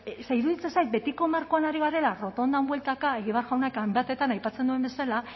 ze iruditzen zait betiko markoan ari garela errotondan bueltaka egibar jaunak hainbatetan aipatzen duen bezala